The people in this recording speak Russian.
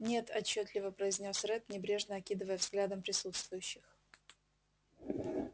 нет отчётливо произнёс ретт небрежно окидывая взглядом присутствующих